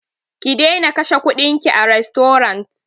Ki daina kashe kuɗinki a rastorant!